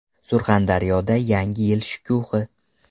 Surxondaryoda Yangi yil shukuhi.